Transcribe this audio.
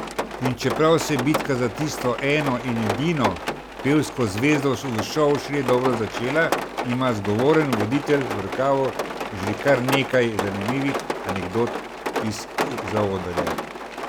In čeprav se je bitka za tisto eno in edino pevsko zvezdo v šovu šele dobro začela, ima zgovoren voditelj v rokavu že kar nekaj zanimivih anekdot iz zaodrja.